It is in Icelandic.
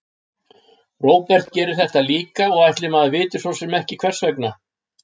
Róbert gerir þetta líka og ætli maður viti svo sem ekki hvers vegna.